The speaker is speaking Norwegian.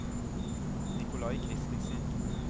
Nicolai Kristensen